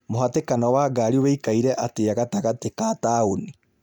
mũhatĩkano wa ngari wĩikaire atĩa gatagatĩ ka taũni